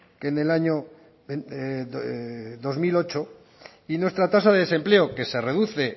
que en el año dos mil ocho y nuestra tasa de desempleo que se reduce